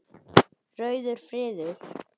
Rauður friður.